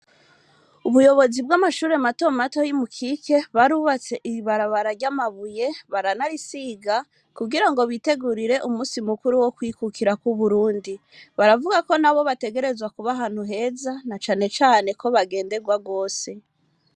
Ubuyobozi bw'amashure matomato y'i Mukike barubatse ibarabara ry'amabuye baranarisiga kugira ngo bitegurire umunsi mukuru wo kwikukira kw'Uburundi. Baravuga ko nabo bategerezwa kuba heza canecane ko bagenderwa rwose.